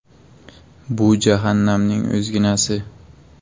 “Bu jahannamning o‘zginasi”.